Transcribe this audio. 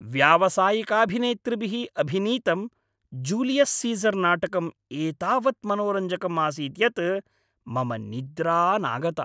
व्यावसायिकाभिनेतृभिः अभिनीतं Julius Caesar नाटकम् एतावत् मनोरञ्जकम् आसीत् यत् मम निद्रा नागता।